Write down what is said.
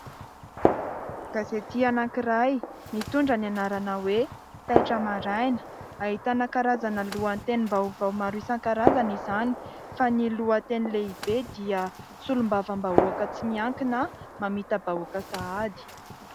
Gazety anankiray mitondra ny anarana hoe "taitra maraina", ahitana karazana lohatenim-baovao maro isan-karazany izany. Fa ny lohateny lehibe dia: "solombavam-bahoaka tsy miankina mamita-bahoaka sahady".